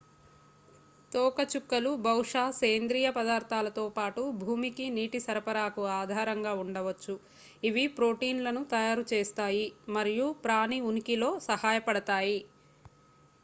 తోకచుక్కలు బహుశా సేంద్రీయ పదార్థాలతో పాటు భూమికి నీటి సరఫరాకు ఆధారంగా ఉండవచ్చు ఇవి ప్రోటీన్లను తయారుచేస్తాయి మరియు ప్రాణి ఉనికిలో సహాయపడతాయి